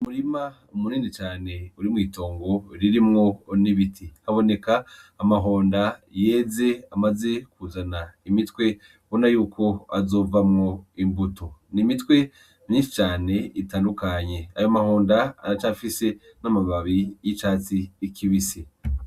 Umurima munini cane uri mw'itongo ririmwo n'ibiti aboneka amahonda yeze amaze kuzana imitwe ubona yuko azovamwo imbuto n'imitwe myinshi cane itandukanye ayo amahonda aracafise n'amababi y'icatsi kibise.